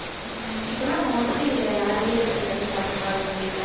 உம் இப்பன்னா mostly யாரு வீட்டுல செய்யறதை சாப்பிடறா, விரும்பின்னா,